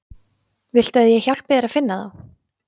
Viltu að ég hjálpi þér að finna þá?